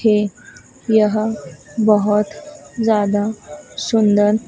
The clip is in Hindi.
थे यह बहोत ज्यादा सुंदर--